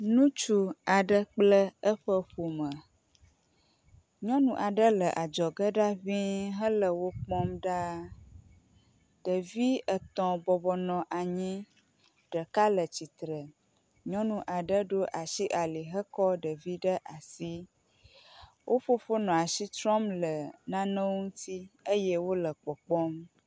Ŋutsu aɖe kple eƒe ƒome. Nyɔnu aɖe le adzɔge ŋi hele wo kpɔm ɖaa. Ɖevi etɔ̃ bɔbɔnɔ anyi ɖeka le tsitre, nyɔnu aɖe ɖo asi ali hekɔ ɖevi ɖew asi. Wo fofo nɔ asi trɔm le nane ŋuti eye wole kpɔkpɔm.